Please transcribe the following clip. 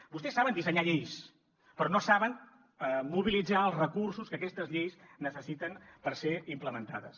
vostès saben dissenyar lleis però no saben mobilitzar els recursos que aquestes lleis necessiten per ser implementades